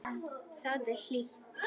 Þar er hlýtt.